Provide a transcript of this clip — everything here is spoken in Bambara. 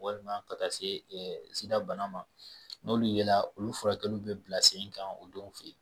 Walima ka taa se sida bana ma n'olu yela olu furakɛliw bɛ bila sen kan o dɔw fɛ yen